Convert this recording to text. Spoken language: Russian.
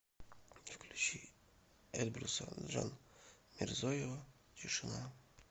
включи эльбруса джанмирзоева тишина